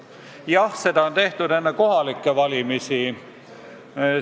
Jah, seda on nüüd tehtud enne kohalikke valimisi.